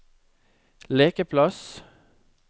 lekeplass